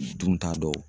Dun ta dɔw